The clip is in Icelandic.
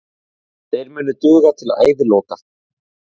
Þeir munu duga til æviloka.